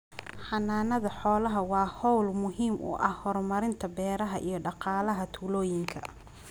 Xanaanada xoolaha waa hawl muhiim u ah horumarinta beeraha iyo dhaqaalaha tuulooyinka.